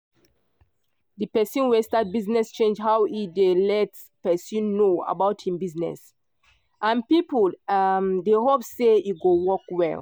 the person wey start business change how e dey let person know about him business and people um dey hope say e go work well.